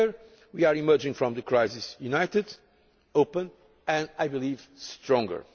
have been. Together we are emerging from the crisis united, open and, I believe,